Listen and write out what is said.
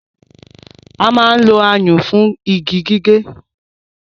A máa ń lo ayùn fún igi gígé